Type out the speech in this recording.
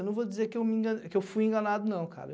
Eu não vou dizer que eu me enganei que eu fui enganado, não, cara.